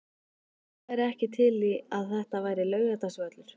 Hver væri ekki til í að þetta væri Laugardalsvöllur?